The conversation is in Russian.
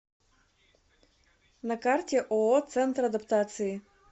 на карте ооо центр адаптации